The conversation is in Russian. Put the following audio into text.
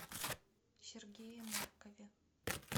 сергее маркове